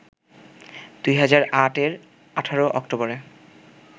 ২০০৮ এর ১৮ অক্টোবরে